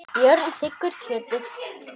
Björn þiggur kjötið.